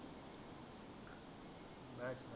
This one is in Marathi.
बस